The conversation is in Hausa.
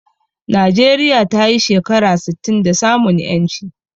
Najeriya tayi shekara sittin da samun ƴanci